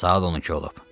Saat 12 olub.